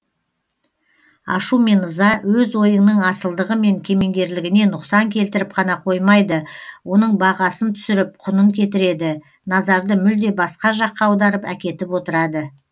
ашу мен ыза өз ойыңның асылдығы мен кемеңгерлігіне нұқсан келтіріп қана қоймайды оның бағасын түсіріп құнын кетіреді назарды мүлде басқа жаққа аударып әкетіп отырады